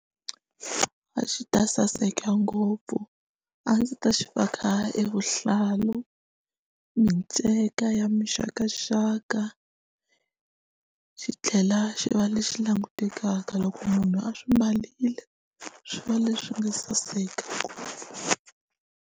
A xi ta saseka ngopfu a ndzi ta xi faka evuhlalu minceka ya mixakaxaka xi tlhela xi va lexi xi langutekaka loko munhu a swi mbarile swi va leswi nga saseka ngopfu.